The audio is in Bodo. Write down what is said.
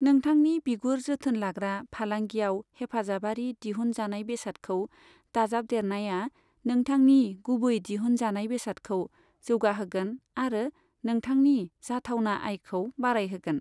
नोंथांनि बिगुर जोथोन लाग्रा फालांगियाव हेफाजाबारि दिहुन जानाय बेसादखौ दाजाब देरनाया नोंथांनि गुबै दिहुन जनाय बेसादखौ जौगा होगोन आरो नोंथांनि जाथावना आयखौ बारायहोगोन।